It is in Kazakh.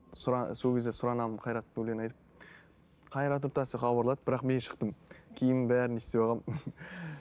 сол кезде сұранамын қайраттың өлеңін айтып қайрат нұртас деп хабарлады бірақ мен шықтым киімім бәрін не істеп алғанмын